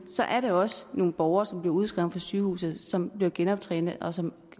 er der også nogle borgere som bliver udskrevet fra sygehuset som bliver genoptrænet og som